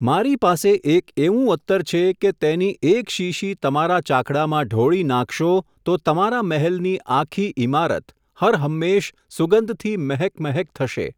મારી પાસે એક એવું અત્તર છે, કે તેની એક શીશી તમારા ચાકડામાં ઢોળી નાંખશો, તો તમારા મહેલની આખી ઈમારત, હરહંમેશ સુગંધથી મહેક મહેક થશે.